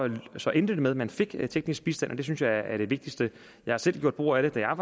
så endte det med at man fik teknisk bistand og det synes jeg er det vigtigste jeg har selv gjort brug af det da jeg